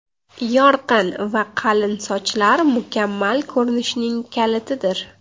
Yorqin va qalin sochlar mukammal ko‘rinishning kalitidir.